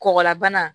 Kɔgɔlabana